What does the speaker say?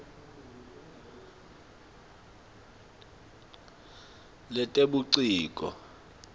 letebuciko